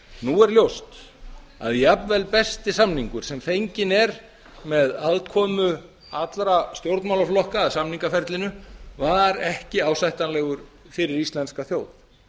nú er ljóst að jafnvel besti samningur sem fenginn er með aðkomu allra stjórnmálaflokka að samningaferlinu var ekki ásættanlegur fyrir íslenska þjóð